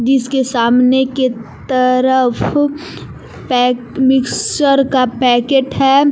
इस के सामने के तरफ मिक्चर का पैकेट है।